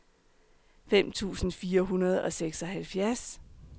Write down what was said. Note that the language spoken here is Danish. fem tusind fire hundrede og seksoghalvtreds